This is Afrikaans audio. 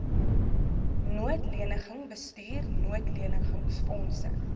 noodleniging bestuur noodlenigingsfondse